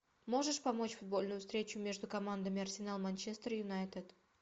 можешь помочь футбольную встречу между командами арсенал манчестер юнайтед